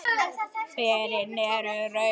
Berin eru rauð.